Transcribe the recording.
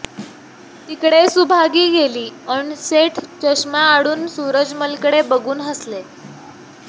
तिकडे सुभागी गेली अन् सेठ चष्म्याआडून सूरजमलकडे बघून हसले